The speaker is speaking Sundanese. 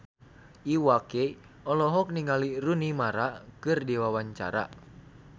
Iwa K olohok ningali Rooney Mara keur diwawancara